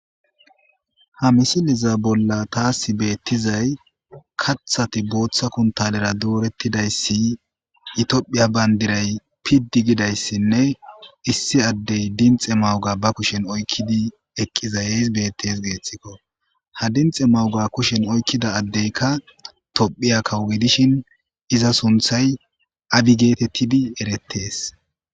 Ha misileza bolli taasi beetizay kaththati booththa kunttalera doortizayssi, itophiya banddiray piddi gidayssinne , issi adde dinxxe magoya ba kushen oykkidi eqqizays betees geeththikko. Ha dinxxe magiya kushiyan oykkida addekka tophiya kawo gidishin iza sunththay abi getetidi eretees.